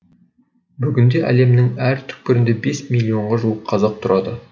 бүгінде әлемнің әр түкпірінде бес миллионға жуық қазақ тұрады